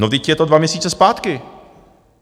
No vždyť je to dva měsíce zpátky.